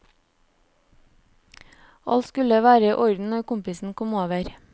Alt skulle være i orden når kompisen kom over.